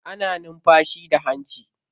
Ana numfashi da hanci.